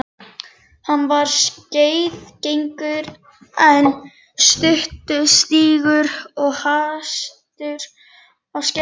Hann var skeiðgengur en stuttstígur og hastur á skeiðinu.